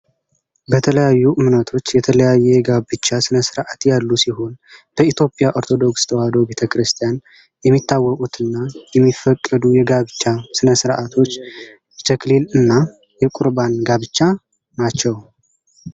በተለያዩ እምነቶች የተለያየ የጋብቻ ስነስርዓት ያሉ ሲሆን በኢትዮጵያ ኦርቶዶክስ ተዋሕዶ ቤተክርስቲያን የሚታወቁት እና የሚፈቀዱ የጋብቻ ስነስርዓቶች የተክሊል እና የቁርባን ጋብቻ ናቸው።